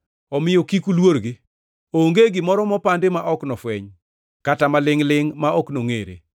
“Omiyo kik uluorgi. Onge gimoro mopandi ma ok nofweny, kata malingʼ-lingʼ ma ok nongʼere.